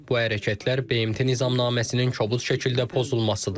Bu hərəkətlər BMT Nizamnaməsinin kobud şəkildə pozulmasıdır.